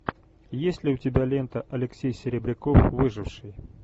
есть ли у тебя лента алексей серебряков выживший